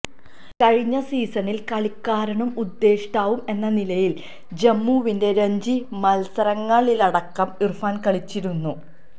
കഴിഞ്ഞ സീസണില് കളിക്കാരനും ഉദേഷ്ടാവും എന്ന നിലയില് ജമ്മുവിന്റെ രഞ്ജി മത്സരങ്ങളിലടക്കം ഇര്ഫാന് കളിച്ചിരുന്നു